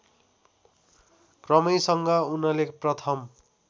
क्रमैसँग उनले प्रथम